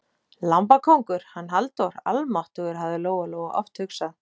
Lambakóngur, hann Halldór, almáttugur, hafði Lóa-Lóa oft hugsað.